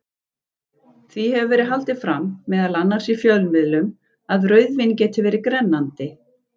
Því hefur verið haldið fram, meðal annars í fjölmiðlum, að rauðvín geti verið grennandi.